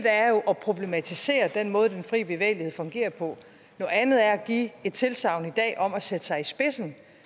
er jo at problematisere den måde den frie bevægelighed fungerer på noget andet er at give et tilsagn her i dag om at sætte sig i spidsen